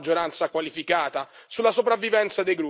Ma sono così scomode e fastidiose queste opposizioni?